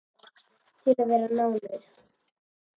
Við þurfum fjarlægð til að vera nánir.